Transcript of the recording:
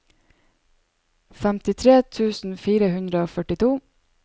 femtitre tusen fire hundre og førtito